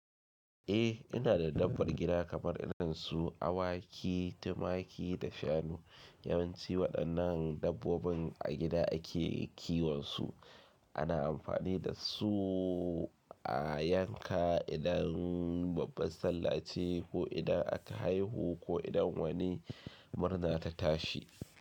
Eh ina da dabbbar gida kamar idonsu, awaki, tumaki da shanu. Yawanci waɗannan dabbobin a gida ake kiwon su. Ana amfani da su a yanka idan babbar Sallah ce ko idan aka haihu ko idan wani murna ta tashi.